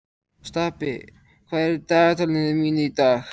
Stapi, hvað er í dagatalinu mínu í dag?